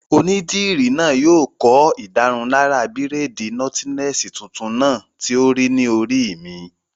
Onídìrí náà yóò kọ́ ìdárunlárà bírèèdì nọ́tílẹ́ẹ̀sì tuntun náà tí ó rí ní orí mi